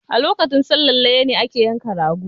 A lokacin sallan layya ne ake yanka ragp